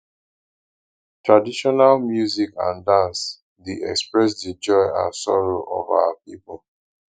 traditional music and dance dey express di joy and sorrow of our pipo